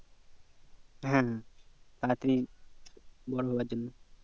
হ্যাঁ হ্যাঁ তারা তাড়ি বড়ো হওয়ার জন্য